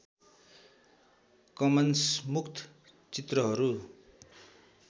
Cummins मुक्त चित्रहरू